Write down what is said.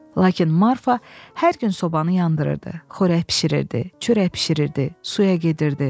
Lakin Marfa hər gün sobanı yandırırdı, xörək bişirirdi, çörək bişirirdi, suya gedirdi.